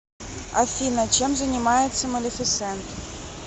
афина чем занимается малефисент